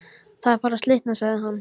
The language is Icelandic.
Það er farið að slitna sagði hann.